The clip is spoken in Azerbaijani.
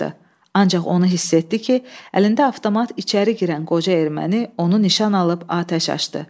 Ancaq onu hiss etdi ki, əlində avtomat içəri girən qoca erməni onu nişan alıb atəş açdı.